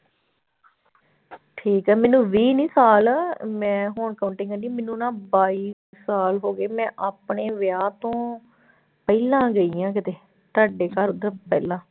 ਠੀਕ ਹੈ ਮੈਨੂੰ ਵੀਹ ਨੀ ਸਾਲ ਮੈਂ ਹੁਣ ਮੈਨੂੰ ਨਾ ਬਾਈ ਸਾਲ ਹੋ ਗਏ ਮੈਂ ਆਪਣੇ ਵਿਆਹ ਤੋਂ ਪਹਿਲਾਂ ਗਈ ਹਾਂ ਕਿਤੇ ਤੁਹਾਡੇ ਘਰ ਉੱਧਰ ਪਹਿਲਾਂ।